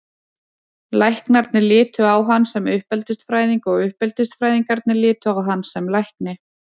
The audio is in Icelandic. Læknarnir litu á hann sem uppeldisfræðing og uppeldisfræðingarnir litu á hann sem lækni.